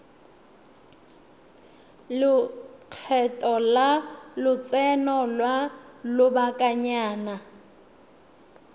lekgetho la lotseno lwa lobakanyana